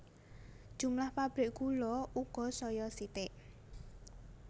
Jumlah pabrik gula uga saya sithik